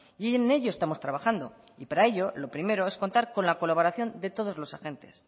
y en ello estamos trabajando y para ello lo primero es contar con la colaboración de todos los agentes